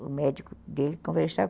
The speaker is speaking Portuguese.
O médico dele conversava.